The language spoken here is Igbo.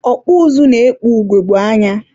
ọkpụ ụzụ na-ekpu ugogbe anya.